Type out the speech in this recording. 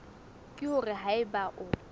ke hore ha eba o